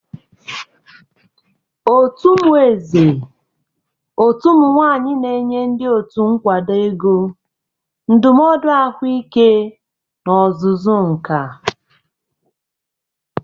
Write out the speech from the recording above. Otu "Umueze Òtù Ụmụ nwanyị" na-enye ndị otu nkwado ego, ndụmọdụ ahụike na ọzụzụ nka.